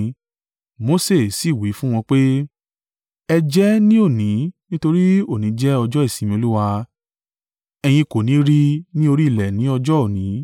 Mose sì wí fún wọn pé, “Ẹ jẹ ẹ́ ní òní nítorí òní jẹ́ ọjọ́ ìsinmi Olúwa. Ẹ̀yin kò ni rí i ni orí ilẹ̀ ní ọjọ́ òní.